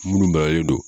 Minnu maralen don